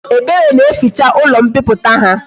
Ebere na eficha ulo mpiputa ha